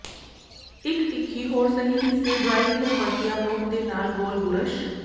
ਇੱਕ ਤਿੱਖੀ ਹੋਰ ਸਹੀ ਹਿੱਸੇ ਡਰਾਇੰਗ ਲਈ ਵਰਤਿਆ ਨੋਕ ਦੇ ਨਾਲ ਗੋਲ ਬੁਰਸ਼